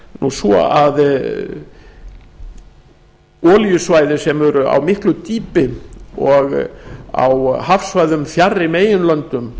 það svo að olíusvæði sem eru á miklu dýpi og á hafsvæðum fjarri meginlöndum